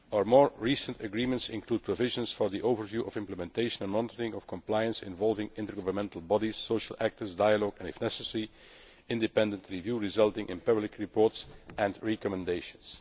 More recent agreements include provision for an overview of the implementation and monitoring of compliance involving intergovernmental bodies, social actors, dialogue and, if necessary, an independent review resulting in public reports and recommendations.